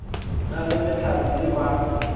na le mehlare ye ba